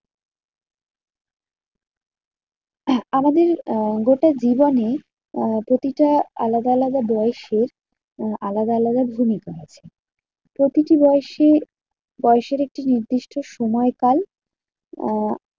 আমাদের আহ গোটা জীবনে প্রতিটা আলাদা আলাদা বয়সে আলাদা আলাদা ভূমিকা আছে। প্রতিটি বয়সে বয়সের একটি নির্দিষ্ট সময় পাই আহ